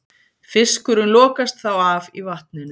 Fiskurinn lokast þá af í vatninu.